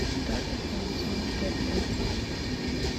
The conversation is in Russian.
тоттенхэм саутгемптон